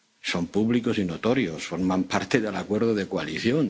sabemos. Son públicos y notorios, forman parte del acuerdo de coalición.